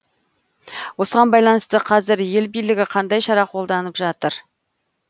осыған байланысты қазір ел билігі қандай шара қолданып жатыр